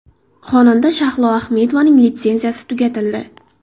Xonanda Shahlo Ahmedovaning litsenziyasi tugatildi.